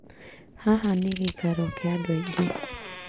Haha nĩ gĩĩkaro kĩa andũ aingĩ